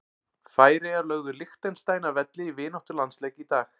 Færeyjar lögðu Liechtenstein að velli í vináttulandsleik í dag.